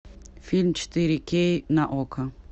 фильм четыре кей на окко